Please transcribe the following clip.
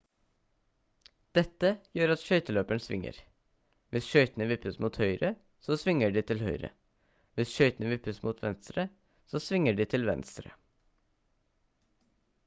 dette gjør at skøyteløperen svinger hvis skøytene vippes mot høyre så svinger de til høyre hvis skøytene vippes mot venstre så svinger de til venstre